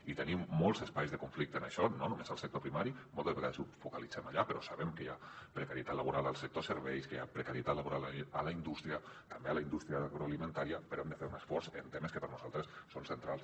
i hi tenim molts espais de conflicte en això no només al sector primari moltes vegades ho focalitzem allà però sabem que hi ha precarietat laboral al sector serveis que hi ha precarietat laboral a la indústria també a la indústria agroalimentària però hem de fer un esforç en temes que per nosaltres són centrals